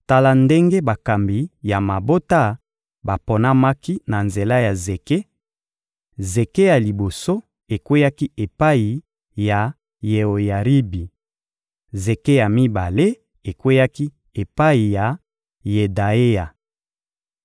Tala ndenge bakambi ya mabota baponamaki na nzela ya zeke: zeke ya liboso ekweyaki epai ya Yeoyaribi; zeke ya mibale ekweyaki epai ya Yedaeya;